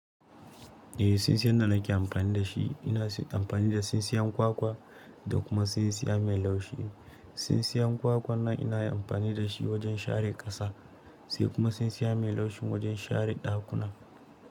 Eh, sinsiyan da nake amfani da shi ina amfani da sinsiya kwakwa da kuma sinsiya mai laushi. Sinsiya kwakwan nan inayi amfani da shi wajen share ƙasa sai kuma sinsiya mai laushin wajen share ɗakuna.